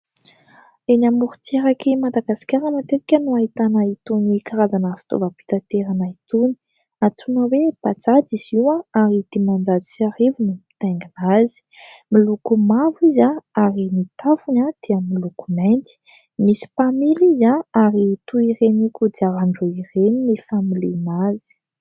Eny amoron-tsirak'i Madagasikara matetika no ahitana itony karazana fitaovam-pitanterana itony, antsoina hoe : Bajaja izy io ary dimanjato sy arivo no mitaingina azy. Miloko mavo izy ary ny tafony dia miloko mainty ; misy mpamily izy ary toy ireny kodiaran-droa ireny ny familiana azy.